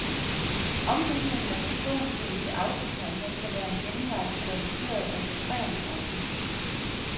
Ombygning af personbil til autocamper kan være en genvej til reduceret registreringsafgift.